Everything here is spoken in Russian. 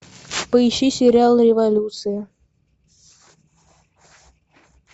поищи сериал революция